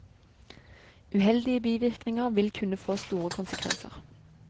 Uheldige bivirkninger vil kunne få store konsekvenser.